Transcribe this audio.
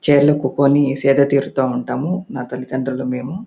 Chair లో కూకోని సేదతీరుతా ఉంటాము. న తల్లి తండ్రులు మేము--